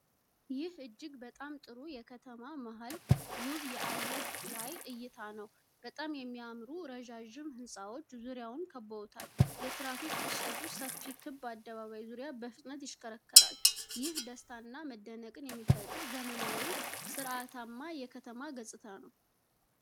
ይህ እጅግ በጣም ጥሩ የከተማ መሃል ውብ የአየር ላይ እይታ ነው። በጣም የሚያምሩ ረዣዥም ሕንፃዎች ዙሪያውን ከብበውታል። የትራፊክ ፍሰቱ ሰፊ ክብ አደባባይ ዙሪያ በፍጥነት ይሽከረከራል፤ ይህ ደስታንና መደነቅን የሚፈጥር ዘመናዊና ሥርዓታማ የከተማ ገጽታ ነው።